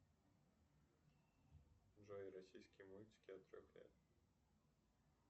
джой российские мультики от трех лет